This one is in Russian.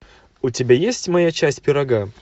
у тебя есть моя часть пирога